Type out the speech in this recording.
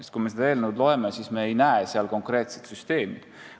Sest kui me seda eelnõu loeme, siis me ei näe seal konkreetset süsteemi.